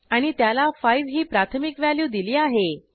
आणि त्याला 5 ही प्राथमिक व्हॅल्यू दिली आहे